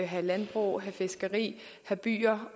have landbrug og have fiskeri have byer